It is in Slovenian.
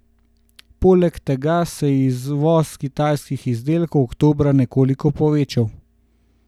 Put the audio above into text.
Poleg tega se je izvoz kitajskih izdelkov oktobra nekoliko povečal.